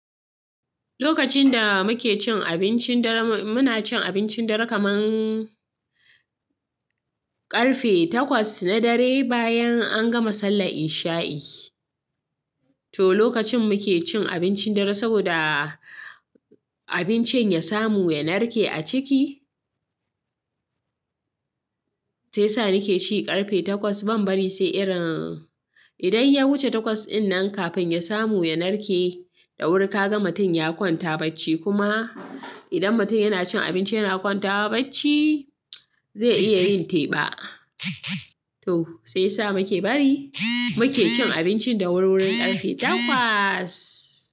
Lokacin da muke cin abincin daren mu, muna cin abincin dare kamar. Ƙarfe takwas na dare, bayan an gama sallar isha'i. To lokacin muke cin abincin dare saboda, abincin ya samu ya narke a ciki. Sai sa nake ci ƙarfe takwas, ban bari sai irin. Idan ya wuce takwas ɗin nan kafin ya samu ya narke, da wuri ka ga mutum ya kwanta bacci kuma. Idan mutum yana cin abinci yana kwanta bacci, zai iya yin teba. To, sai sa muke bari, muke cin abincin da wurwuri ƙarfe takwas.